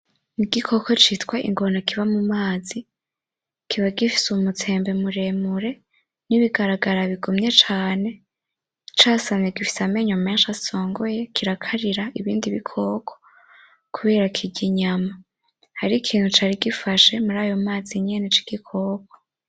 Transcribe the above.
Igikoko citwa ingona kiba mumazi. Kikaba gifise umutsembe muremure n’ibigaragara bigumye cane .Casamye gifise amenyo menshi asongoye kirakarira ibindi bikoko kubera kirya inyama .Hariho imintu cari gifashe murayo mazi nyene c’igikoko